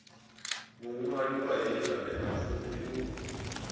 muṅwali wa hei nganeapfufhi u